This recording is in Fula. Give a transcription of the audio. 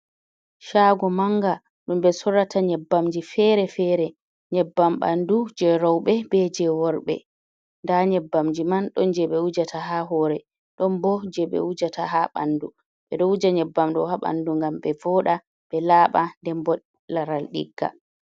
Shago manga, ɗum ɓe sorata nyebbamji fere-fere. Nyebbam ɓandu je roɓe be je worɓe. Nda nyabbamji man ɗon je ɓe wujata ha hore, ɗon bo je ɓe wujata ha ɓandu. Ɓe ɗo wuja nyebbam ɗo ha ɓandu ngam ɓe voɗa ɓe laɓa nden bo laral digga.